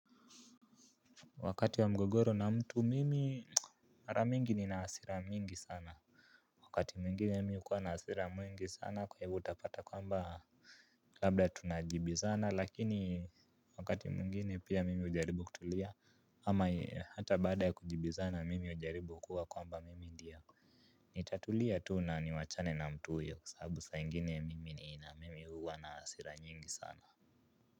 Wakati wa mgogoro na mtu mimi mara mingi nina hasira nyingi sana. Wakati mingine mimi hukuwa na hasira mingi sana kwahivyo utapata kwamba labda tunajibizana lakini wakati mwingine pia mimi hujaribu kutulia ama hata baada ya kujibizana mimi hujaribu kuwa kwamba mimi ndiye nitatulia tu na niwachane na mtu huyo kwasababu saa ingine mimi ni na mimi huwa na hasira nyingi sana.